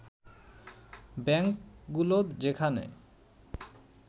ব্যাংকগুলো যেখানে